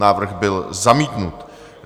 Návrh byl zamítnut.